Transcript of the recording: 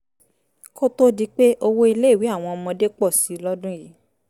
kó tó di pé owó iléèwé àwọn ọmọdé pọ̀ sí i lọ́dún yìí